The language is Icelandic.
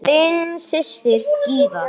Þín systir, Gyða.